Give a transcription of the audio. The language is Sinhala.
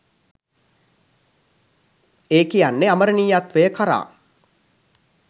ඒ කියන්නෙ අමරනියත්වය කරා